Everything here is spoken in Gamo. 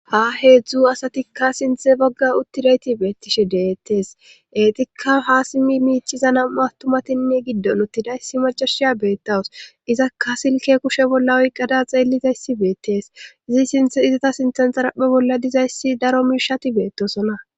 Ha heedzdzu asatikka sinthe bagga uttidayti beettishe deettees eetikka ha simi miichiza nam7u awtumatinne giddon uttidayssi macashiya beettawus izaka silke kushe bolla oyqqada xeellizayssi beettees izi sinthe izata sinthensaraphe bolla dizayssi daro miishati beettosona.